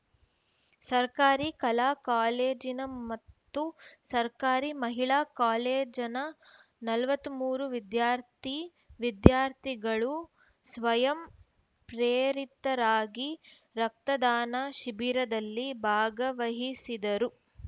ಸರ್ಕಾರಿ ಕಲಾ ಕಾಲೇಜಿನ ಮತ್ತು ಸರ್ಕಾರಿ ಮಹಿಳಾ ಕಾಲೇಜಿನ ನಲವತ್ತ್ ಮೂರು ವಿದ್ಯಾರ್ಥಿ ವಿದ್ಯಾರ್ಥಿಗಳು ಸ್ವಯಂ ಪ್ರೇರಿತರಾಗಿ ರಕ್ತದಾನ ಶಿಬಿರದಲ್ಲಿ ಭಾಗವಹಿಸಿದರು